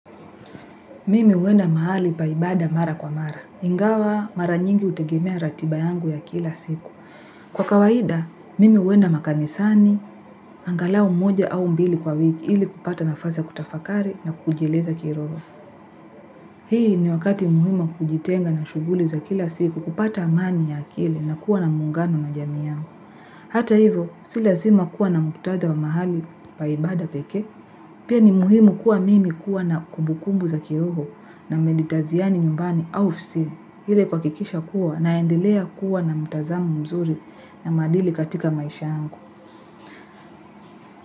Mimi huenda mahali pa ibada mara kwa mara. Ingawa mara nyingi hutegemea ratiba yangu ya kila siku. Kwa kawaida, mimi huenda makanisani, angalao moja au mbili kwa wiki ili kupata nafasi ya kutafakari na kujileza kiroho. Hii ni wakati muhimu wa kujitenga na shuguli za kila siku kupata amani ya akili na kuwa na muungano na jamii yangu. Hata hivyo si lazima kuwa na muktadha wa mahali pa ibada pekee pia ni muhimu kuwa mimi kuwa na kumbukumbu za kiroho na meditaziani nyumbani au fsi hile kwa kuhakikisha kuwa naendelea kuwa na mutazamo mzuri na maadili katika maisha yangu.